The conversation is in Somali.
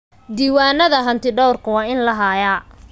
Diiwaanada hantidhawrka waa in la hayaa.